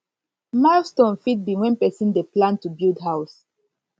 milestone fit be when person dey plan to build house